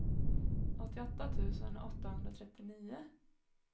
åttioåtta tusen åttahundratrettionio